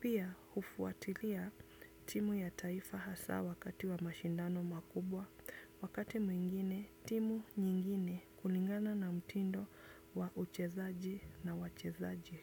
Pia hufuatilia timu ya taifa hasa wakati wa mashindano makubwa, wakati mwingine timu nyingine kulingana na mtindo wa uchezaji na wachezaji.